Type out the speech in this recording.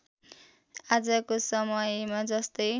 आजको समयमा जस्तै